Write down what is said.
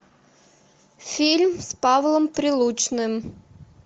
фильм с павлом прилучным